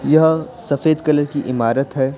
यह सफेद कलर की इमारत हे ।